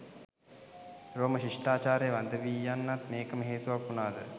රෝම ශිෂ්ටාචාරය වඳ වී යන්නත් මේකම හේතුවක් වුනාද